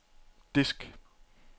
disk